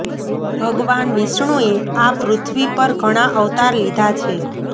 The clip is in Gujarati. ભગવાન વિષ્ણુએ આ પૃથ્વી પર ઘણા અવતાર લીધા છે